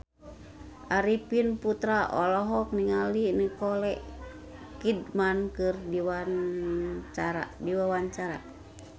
Arifin Putra olohok ningali Nicole Kidman keur diwawancara